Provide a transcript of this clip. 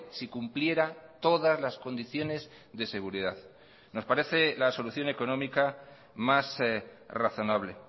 si cumpliera todas las condiciones de seguridad nos parece la solución económica más razonable